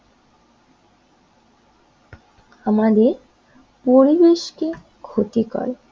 আমাদের পরিবেশকে ক্ষতি করে।